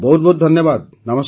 ବହୁତ ବହୁତ ଧନ୍ୟବାଦ